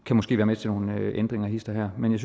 kan måske være med til nogle ændringer hist og her men jeg